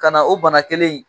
Ka na o bana kelen in